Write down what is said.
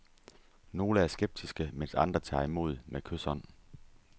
Nogle er skeptiske, mens andre tager imod med kyshånd.